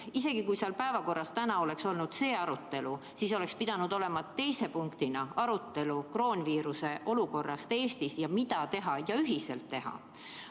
Isegi kui täna oleks päevakorras olnud see arutelu, siis oleks pidanud seal olema teise punktina arutelu kroonviiruse olukorrast Eestis, mida teha ja mida ühiselt teha.